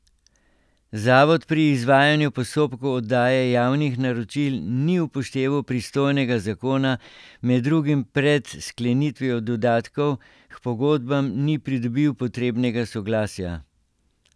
Zavod pri izvajanju postopkov oddaje javnih naročil ni upošteval pristojnega zakona, med drugim pred sklenitvijo dodatkov k pogodbam ni pridobil potrebnega soglasja.